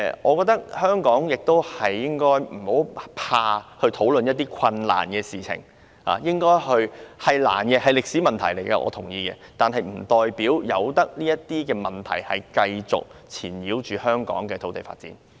我覺得香港不應該害怕討論這些困難的事情，我同意這是一個歷史遺留下來的困難問題，但不代表應該讓這些問題繼續纏繞香港的土地發展。